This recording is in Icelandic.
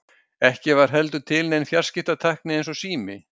ekki var heldur til nein fjarskiptatækni eins og sími